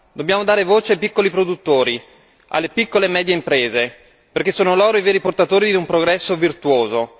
Dobbiamo dare voce ai piccoli produttori, alle piccole e medie imprese perché sono loro i veri portatori di un progresso virtuoso.